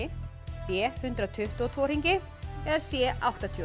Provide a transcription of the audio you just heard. b hundrað tuttugu og tvo hringi c áttatíu og